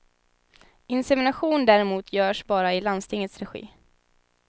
Insemination däremot görs bara i landstingets regi.